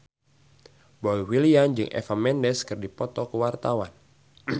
Boy William jeung Eva Mendes keur dipoto ku wartawan